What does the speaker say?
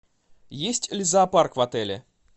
есть ли зоопарк в отеле